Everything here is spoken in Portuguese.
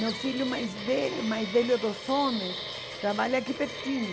Meu filho mais velho, mais velho dos homens, trabalha aqui pertinho.